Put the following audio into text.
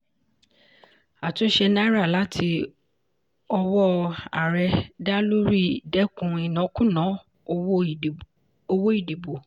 àtúnṣe náírà láti ọwọ́ ààrẹ dá lórí dẹ́kun ìnákúùná owó ìdìbò.